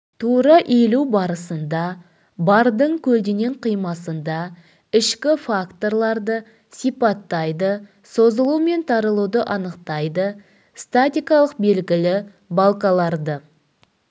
тура иілу барысында бардың көлденең қимасында ішкі факторларды сипаттайды созылу мен тарылуды анықтайды статикалық белгілі балкаларды